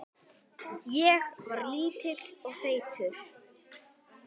Ég var lítill og feitur.